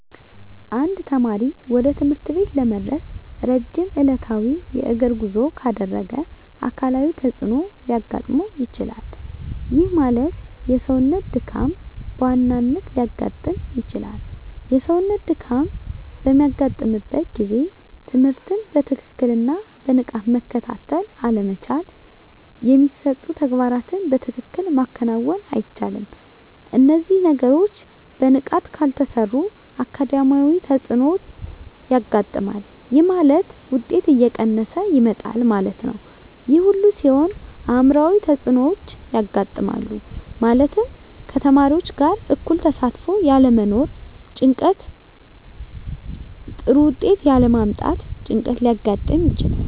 አንድ ተማሪ ወደ ትምህርት ቤት ለመድረስ ረጅም ዕለታዊ የእግር ጉዞ ካደረገ አካላዊ ተፅዕኖ ሊያጋጥመው ይችላል። ይህ ማለት የሰውነት ድካም በዋናነት ሊያጋጥም ይችላል። የሰውነት ድካም በሚያጋጥምበት ጊዜ ትምህርትን በትክክልና በንቃት መከታተል አለመቻል የሚሰጡ ተግባራትን በትክክል ማከናወን አይቻልም። እነዚህ ነገሮች በንቃት ካልተሰሩ አካዳሚያዊ ተፅዕኖዎች ያጋጥማል። ይህ ማለት ውጤት እየቀነሰ ይመጣል ማለት ነው። ይህ ሁሉ ሲሆን አዕምሯዊ ተፅዕኖዎች ያጋጥማሉ። ማለትም ከተማሪዎች ጋር እኩል ተሳትፎ ያለመኖር ጭንቀት ጥሩ ውጤት ያለ ማምጣት ጭንቀት ሊያጋጥም ይችላል።